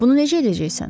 Bunu necə edəcəksən?